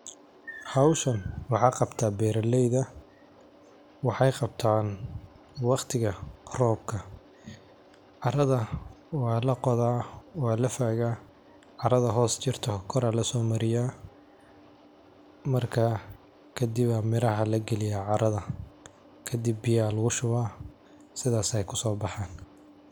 Howshan waxa qabto beraleyda, waxay qabtan waqtiga robka, caradha walaqoda walafaga, caradha hos jirta kor a losomariya marka kadiba miraha lagaliya caradha kadib biya lugushuba sidhad ay kusobaxan.